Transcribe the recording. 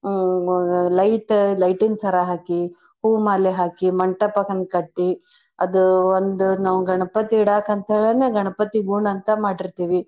ಹ್ಮ್ light light ಇನ್ ಸರ ಹಾಕಿ ಹೂ ಮಾಲೆ ಹಾಕಿ ಮಂಟಪದಂಗ್ ಕಟ್ಟಿ ಅದು ಒಂದ್ ನಾವ್ ಗಣ್ಪತಿ ಇಡಾಕಂತೇಳಿನೇ ಗಣ್ಪತಿ ಗೂಣ್ ಅಂತ ಮಾಡಿರ್ತೇವಿ.